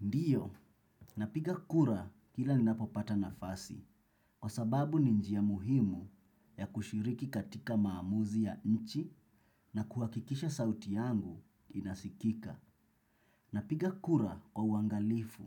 Ndio, napiga kura kila ninapopata nafasi kwa sababu ni njia muhimu ya kushiriki katika maamuzi ya nchi na kuhakikisha sauti yangu inasikika. Napiga kura kwa uangalifu